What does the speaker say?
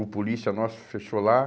O polícia nosso fechou lá.